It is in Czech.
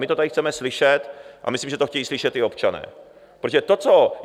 My to tady chceme slyšet a myslím, že to chtějí slyšet i občané, protože to, co...